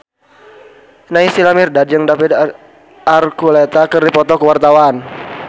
Naysila Mirdad jeung David Archuletta keur dipoto ku wartawan